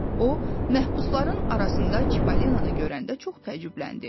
O məhbusların arasında Çipollinonu görəndə çox təəccübləndi.